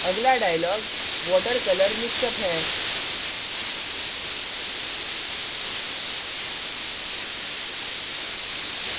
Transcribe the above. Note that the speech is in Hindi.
अगला dialog water colour mixup water colour mixup है